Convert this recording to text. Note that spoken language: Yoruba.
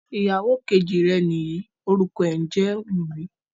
Iyàwọ kẹjì rè níyí, orúkọ rè ǹjẹ Wúmì.